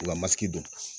U ka masiri dɔn